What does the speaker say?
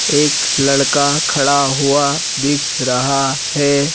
एक लड़का खड़ा हुआ दिख रहा है।